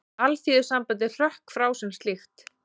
Alþýðusambandið hrökk frá sem slíkt